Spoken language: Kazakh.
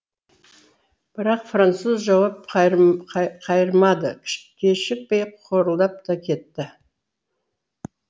бірақ француз жауап қайырмады кешікпей қорылдап та кетті